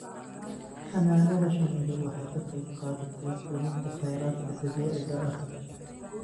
Xannaanada shinnidu waxay ka qayb qaadataa luminta kheyraadka dabiiciga ah.